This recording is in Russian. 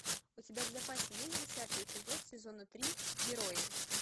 у тебя в запасе есть десятый эпизод сезона три герои